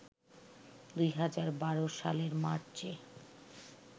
২০১২ সালের মার্চে